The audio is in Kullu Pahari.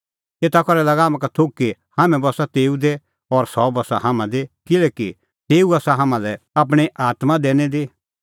एता करै लागा हाम्हां का थोघ कि हाम्हैं बस्सा तेऊ दी और सह बस्सा हाम्हां दी किल्हैकि तेऊ आसा हाम्हां लै आपणीं आत्मां दैनी दी